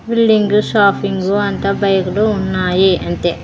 Building shopping అంత బైకులు ఉన్నాయి అంతే.